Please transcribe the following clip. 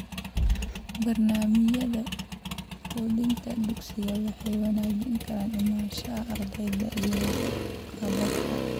Barnaamijyada quudinta dugsiga waxay wanaajin kartaa imaanshaha ardayda iyo waxqabadka.